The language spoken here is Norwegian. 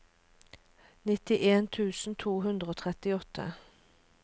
nittien tusen to hundre og trettiåtte